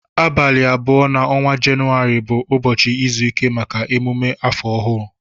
Abali abụọ na ọnwa jauary bu ụbọchi izụike maka emume afọọ ọhụ.